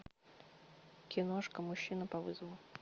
киношка мужчина по вызову